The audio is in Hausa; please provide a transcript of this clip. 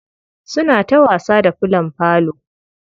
Suna ta wasa da fillon falo.